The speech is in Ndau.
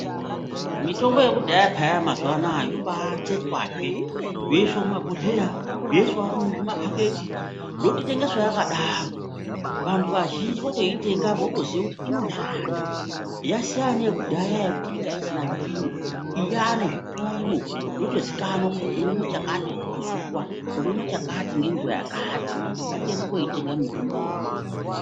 Mitombo yekudhaya mazuva anawa yobatsetswazve yoiswa mumabhohleya yoiswawo mumapaketi yototengeswa yakadaro vantu vazhinji votoitenga votoziva kuti inoshanda yasiyana neye kudhaya yekuti yanga isina zvipimo iyi yane zvipimo yotozikanwa kuti unomwa chakati ngenguwa yakati ngatiende koitenga mitomboyo.